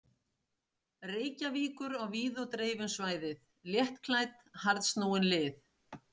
Reykjavíkur á víð og dreif um svæðið, léttklædd, harðsnúin lið.